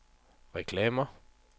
reklamer